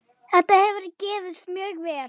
Þetta hefur gefist mjög vel.